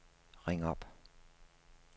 ring op